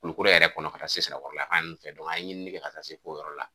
Kulukoro yɛrɛ kɔnɔ ka taa se Sirakɔrɔla yan fan ninnu fɛ an ye ɲinini kɛ ka taa se f'o yɔrɔ la.